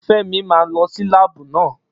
Femi máa lọ sí láàbù náà